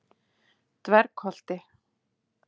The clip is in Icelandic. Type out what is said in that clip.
Dvergholti